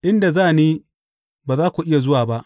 Inda za ni, ba za ku iya zuwa ba.